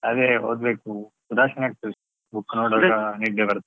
ಅದೆ ಓದ್ಬೇಕು ಉದಾಸೀನ ಆಗ್ತಾದೆ book ನೋಡುವಾಗ ನಿದ್ದೆ ಬರ್ತದೆ.